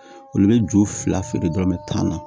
Olu bɛ ju fila feere dɔrɔn mɛ tan na